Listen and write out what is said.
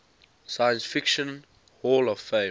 science fiction hall of fame